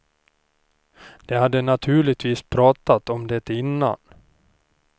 De hade naturligtvis pratat om det innan.